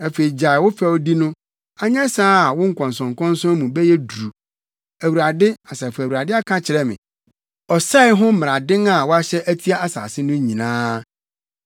Afei gyae wo fɛwdi no, anyɛ saa a wo nkɔnsɔnkɔnsɔn mu bɛyɛ duru; Awurade, Asafo Awurade aka akyerɛ me ɔsɛe ho mmaraden a wɔahyɛ atia asase no nyinaa.